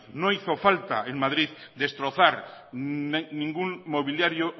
no hizo falta en madrid destrozar ningún mobiliario